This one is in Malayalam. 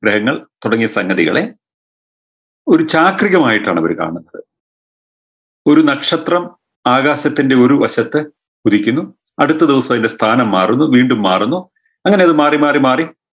ഗ്രഹങ്ങൾ തുടങ്ങിയ സംഗതികളെ ഒരു ചാക്രികമായിട്ടാണ് അവര് കാണുന്നത് ഒരു നക്ഷത്രം ആകാശത്തിൻറെ ഒരു വശത്ത് ഉദിക്കുന്നു അടുത്ത ദിവസം അയിന്റെ സ്ഥാനം മാറുന്നു വീണ്ടും മാറുന്നു അങ്ങനെ അത് മാറി മാറി